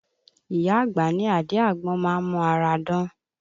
Ìyá àgbà ní àdí àgbọn má ń mu ara dán